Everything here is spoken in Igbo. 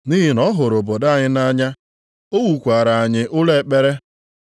Nʼihi na ọ hụrụ obodo anyị nʼanya. O wukwaara anyị ụlọ ekpere.”